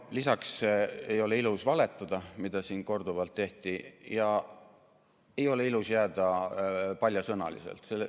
Lisaks ei ole ilus valetada, nagu siin korduvalt tehti, ja ei ole ilus jääda paljasõnaliseks.